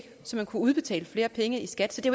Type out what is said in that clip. så man kunne udbetale flere penge i skat så det